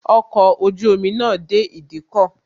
Ọkọ̀ ojú omi náà dé ìdíkọ̀